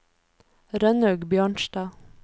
Rønnaug Bjørnstad